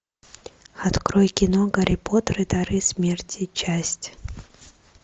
открой кино гарри поттер и дары смерти часть